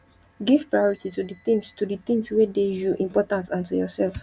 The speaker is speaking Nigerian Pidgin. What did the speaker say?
give priority to di things to di things wey dey you important and to yourself